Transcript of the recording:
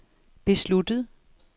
besluttet